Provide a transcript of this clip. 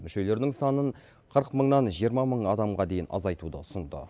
мүшелерінің санын қырық мыңнан жиырма мың адамға дейін азайтуды ұсынды